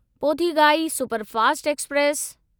Pothigai superfast express